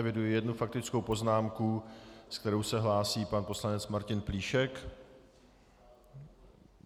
Eviduji jednu faktickou poznámku, se kterou se hlásí pan poslanec Martin Plíšek.